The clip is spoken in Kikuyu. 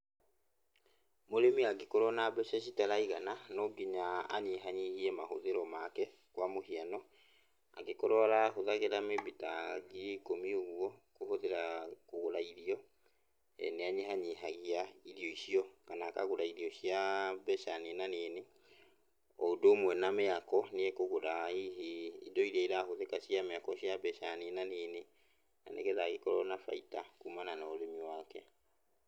Mũrĩmi angĩkorwo na mbeca citaraigana, no nginya anyihanyihie mahũthĩro make, kwa mũhiano, angĩkorwo arahũthagĩra maybe ta ngiri ikũmi ũguo, kũhũthĩra kũgũra irio, nĩanyihanyihagia irio icio, kana akagũra irio cia mbeca ninanini. O ũndũ ũmwe na mĩako, nĩekũgũraa hihi indo iria irahũthĩka cia mĩako cia mbeca ninanini, na nĩgetha agĩkorwo na baita kumana na ũrĩmi wake.